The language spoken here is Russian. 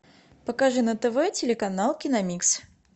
покажи на тв телеканал киномикс